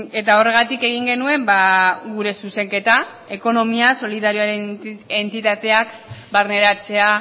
eta horregatik egin genuen gure zuzenketa ekonomia solidarioaren entitateak barneratzea